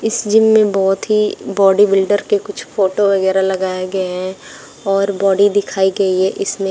इस जिम में बहोत ही बॉडीबिल्डर के कुछ फोटो वगैरा लगाए गए हैं और बॉडी दिखाई गई है इसमें--